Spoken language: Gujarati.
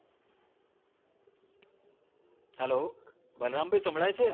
hello બલરામ ભાઈ સાંભલાય છે